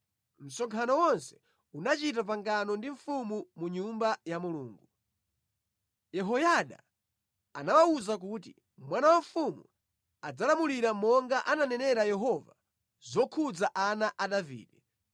msonkhano wonse unachita pangano ndi mfumu mu Nyumba ya Mulungu. Yehoyada anawawuza kuti, “Mwana wa mfumu adzalamulira monga ananenera Yehova zokhudza ana a Davide.